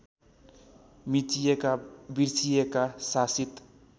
मिचिएका बिर्सिइएका शासित